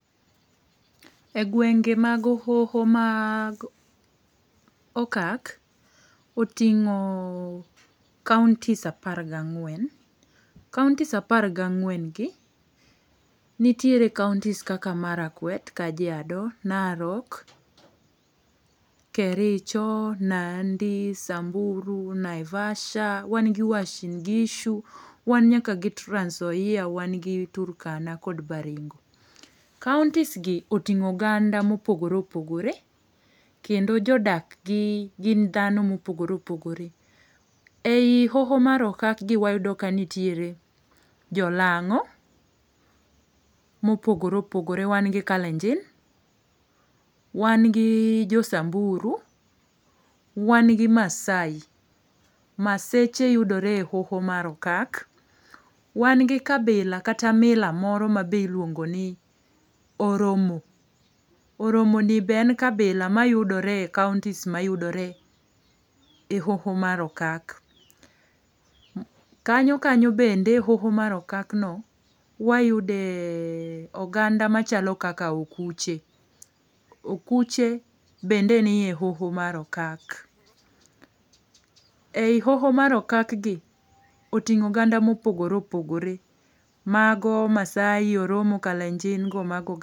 E gwenge mag hoho mag okak, oting'o kauntis apar ga ang'wen. kauntis apar ga ang'wen gi nitiere kauntis kaka Marakwet, Kajiado, Narok, Kericho, Nandi, Samburu, Naivasha, wan gi Wasingishu, wan nyaka gi Trans Nzoia, wan gi Turkana kod Baringo. Kauntis gi oting'o oganda ma opogore opogore kendo jo dak gin dhano mo opogore opogore. E i hoho mar okak gi wayudo ka nitiere jo lang'o ma opogore opogore, wan gi kalenjin, wan gi jo samburu, wan gi maasai. maaseche yudore e hoho mar okak, wan gi kabila kata mila moro mi iluongo ni oromo. Oromo ni be en kabila ma yudore e kauntis ma yudore e hoho mar okak. Kanyo kanyo bende e hoho mar okak no wayude oganda ma chalo kaka okuche. Okuche bende nie e hoho mar okak. E i hoho mar okak gi oting'o oganda ma opogore opogore, ma go maasai, oromo, kalenjin go ma ne.